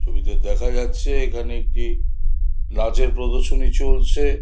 ছবিতে দেখা যাচ্ছে এখানে একটি নাচের প্রদর্শনী চলছে।